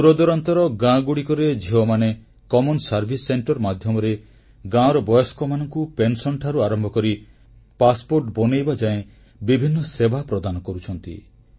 ଦୂରଦୂରାନ୍ତର ଗାଁଗୁଡ଼ିକରେ ଝିଅମାନେ ସାଧାରଣ ଜନସେବା କେନ୍ଦ୍ରମାଧ୍ୟମରେ ଗାଁର ବୟସ୍କମାନଙ୍କୁ ପେନସନଠାରୁ ଆରମ୍ଭ କରି ପାସପୋର୍ଟବନେଇବା ଯାଏ ବିଭିନ୍ନ ସେବା ପ୍ରଦାନ କରୁଛନ୍ତି